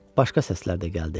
Başqa səslər də gəldi.